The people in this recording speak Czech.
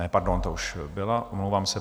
Ne, pardon, ta už byla, omlouvám se.